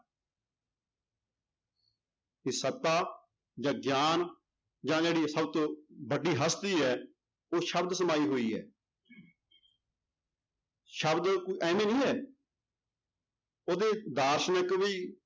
ਵੀ ਸੱਤਾ ਜਾਂ ਗਿਆਨ ਜਾਂ ਜਿਹੜੀ ਸਭ ਤੋਂ ਵੱਡੀ ਹਸਤੀ ਹੈ ਉਹ ਸ਼ਬਦ ਹੋਈ ਹੈ ਸ਼ਬਦ ਕਿ ਇਵੇਂ ਨੀ ਹੈ ਉਹਦੇ ਦਾਰਸ਼ਨਿਕ ਵੀ